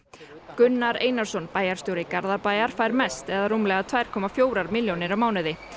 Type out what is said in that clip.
Gunnar Einarsson bæjarstjóri Garðabæjar fær mest eða rúmlega tvær komma fjórar milljónir á mánuði